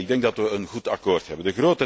Ik denk dat we een goed akkoord hebben.